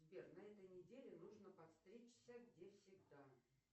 сбер на этой неделе нужно подстричься где всегда